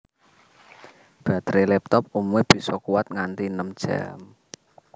Batere laptop umume bisa kuwat nganti enem jam